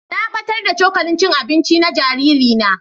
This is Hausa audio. Na battar da cokalin cin abinci na jariri na.